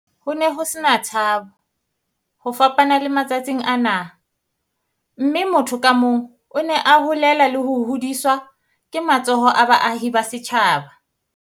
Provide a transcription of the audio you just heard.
"Ho ne ho se na tshabo, ho fapana le matsatsing ana, mme motho ka mong o ne a holela le ho hodiswa ke matsoho a baahi ba setjhaba."